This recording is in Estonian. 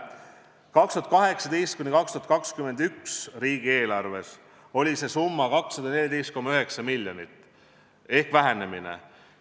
Aastate 2018–2021 riigieelarves oli see summa 217 miljonit ehk tegemist oli vähenemisega.